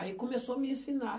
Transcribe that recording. Aí começou a me ensinar.